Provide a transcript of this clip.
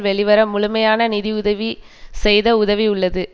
வெளிவர முழுமையான நிதி உதவி செய்த உதவி உள்ளது